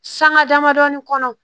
Sanga damadɔni kɔnɔ